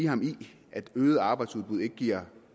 ham i at øget arbejdsudbud ikke giver